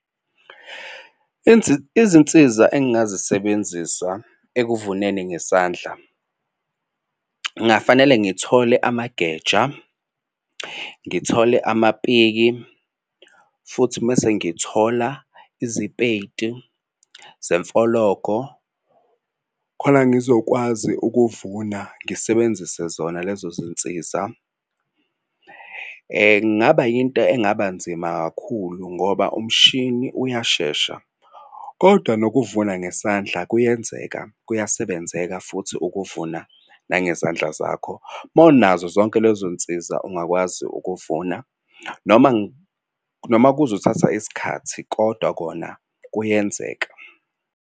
Izinsiza engingazisebenzisa ekuvuneni ngesandla ngingafanele ngithole amageja, ngithole amapiki futhi mesengithola izipeyidi zemfologo khona ngizokwazi ukuvuna ngisebenzise zona lezo zinsiza. Kungaba yinto engabanzima kakhulu ngoba umshini uyashesha kodwa nokuvuna ngesandla kuyenzeka. Kuyasebenzeka futhi ukuvuna nangezandla zakho uma unazo zonke lezo nsizwa ungakwazi ukuvuna noma noma kuzothatha isikhathi kodwa kona kuyenzeka.